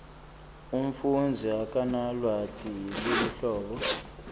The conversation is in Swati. umfundzi akanalwati lweluhlobo